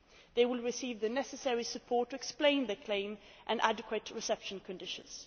They will receive the necessary support to explain their claim, and adequate reception conditions.